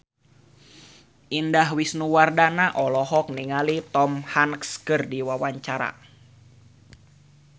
Indah Wisnuwardana olohok ningali Tom Hanks keur diwawancara